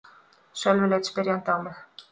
Sölvi leit spyrjandi á mig.